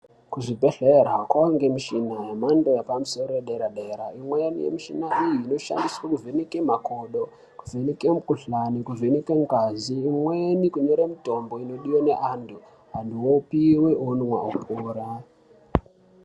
Kuzvibhedhlera kwaangemishina yemhando yepamusoro yedera--dera, imweni yemichina iyi inoshandiswe kuvheneke makodo, kuvheneke mikhuhlani , kuvheneke ngazi, imweni kunyore mitombo inodiwe neantu, antu opiwe, onwa, opora.